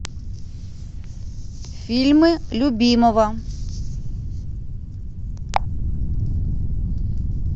фильмы любимого